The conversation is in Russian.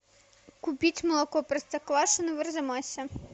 купить молоко простоквашино в арзамасе